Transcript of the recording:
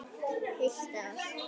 Heilt ár.